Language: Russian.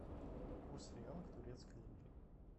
курс реала к турецкой лире